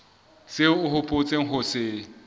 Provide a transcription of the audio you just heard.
seo o hopotseng ho se